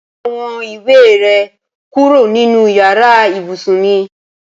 Ko awon iwe re kuro ninu iyare ibusun mi